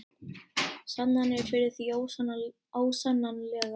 Sannanir fyrir því ósannanlega.